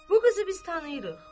Bu qızı biz tanıyırıq.